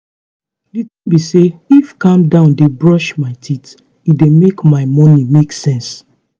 di tin be say if calm down dey brush my teeth e dey make my morning make sense